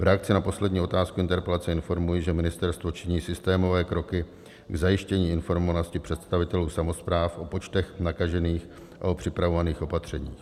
V reakci na poslední otázku interpelace informuji, že ministerstvo činí systémové kroky k zajištění informovanosti představitelů samospráv o počtech nakažených a o připravovaných opatřeních.